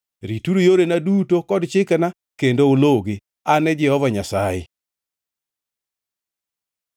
“ ‘Rituru yorena duto kod chikena kendo uluwgi. An e Jehova Nyasaye.’ ”